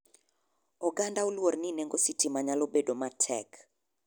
Oganda oluor ni nengo sitima nyalo bedo matek.